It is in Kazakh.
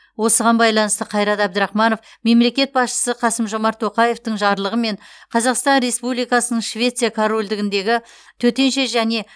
осыған байланысты қайрат әбдірахманов мемлекет басшысы қасым жомарт тоқаевтың жарлығымен қазақстан республикасының швеция корольдігіндегі төтенше және